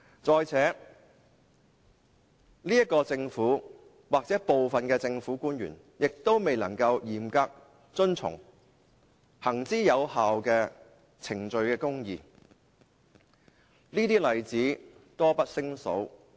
再者，這個政府或部分政府官員亦未能嚴格遵從行之有效的程序公義，這些例子多不勝數。